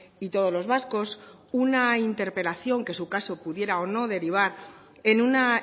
y todos los vascos una interpelación que en su caso pudiera o no derivar en una